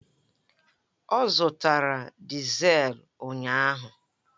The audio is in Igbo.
Ọ zụtara diselu ụnyaahụ